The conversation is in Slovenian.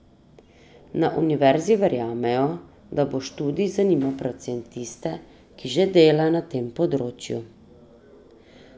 Na univerzi verjamejo, da bo študij zanimal predvsem tiste, ki že delajo na tem področju.